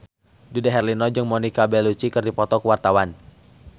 Dude Herlino jeung Monica Belluci keur dipoto ku wartawan